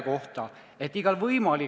Kuid miks ma siia kõnepulti tulin?